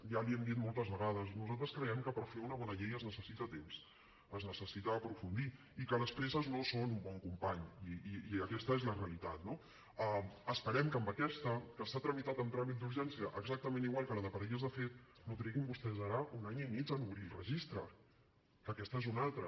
ja l’hi hem dit moltes vegades nosaltres creiem que per fer una bona llei es necessita temps es necessita aprofundir i que les presses no són un bon company i aquesta és la realitat no esperem que amb aquesta que s’ha tramitat amb tràmit d’urgència exactament igual que la de parelles de fet no triguin vostès ara un any i mig en obrir el registre que aquesta és una altra